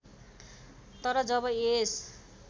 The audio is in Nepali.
तर जब यस